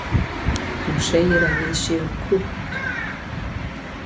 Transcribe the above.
Hún segir að við séum krútt